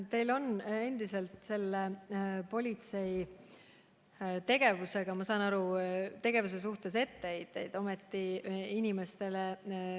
Teil on endiselt politsei tegevuse suhtes etteheiteid, nagu ma aru saan.